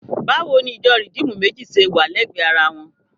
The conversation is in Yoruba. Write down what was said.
Báwo ni ìjọ Rìdíìmù méjì ṣe wà lẹ́gbẹ̀ẹ́ ara wọn?